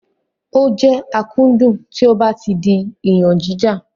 Ó jẹ́ akúndùn tí ó ba ti di iyànjíjà.